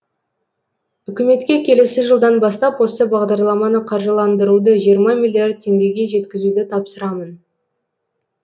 үкіметке келесі жылдан бастап осы бағдарламаны қаржыландыруды жиырма миллиард теңгеге жеткізуді тапсырамын